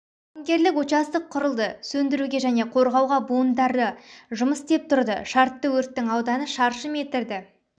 жауынгерлік участок құрылды сөндіруге және қорғауға буындары жұмыс істеп тұрды шартты өрттің ауданы шаршы метрді